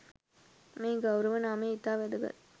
මේ ගෞරව නාමය ඉතා වැදගත්.